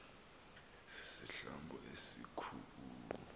sisihlambo esikhu u